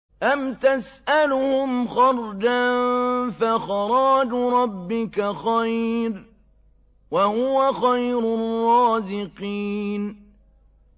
أَمْ تَسْأَلُهُمْ خَرْجًا فَخَرَاجُ رَبِّكَ خَيْرٌ ۖ وَهُوَ خَيْرُ الرَّازِقِينَ